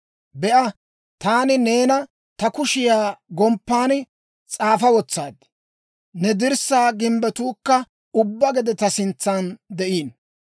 Be'a, taani neena ta kushiyaa gomppan s'aafa wotsaad; ne dirssaa gimbbetuukka ubbaa gede ta sintsan de'iino.